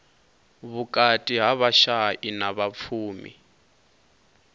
vhukati ha vhashai na vhapfumi